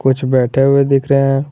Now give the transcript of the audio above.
कुछ बैठे हुए दिख रहे हैं।